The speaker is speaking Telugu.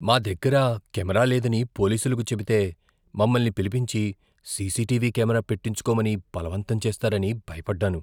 మా దగ్గర కెమెరా లేదని పోలీసులకు చెబితే మమ్మల్ని పిలిపించి సీసీటీవీ కెమెరా పెట్టించుకోమని బలవంతం చేస్తారని భయపడ్డాను.